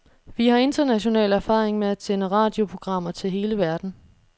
Vi har international erfaring med at sende radioprogrammer til hele verden.